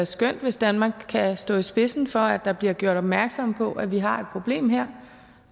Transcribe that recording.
skønt hvis danmark kan stå i spidsen for at der bliver gjort opmærksom på at vi har et problem her